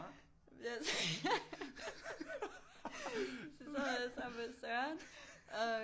Så sad jeg sammen med Søren og